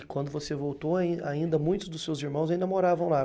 E quando você voltou, ain ainda muitos dos seus irmãos ainda moravam lá.